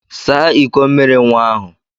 Saa ịkọ mmiri nwa ahụ!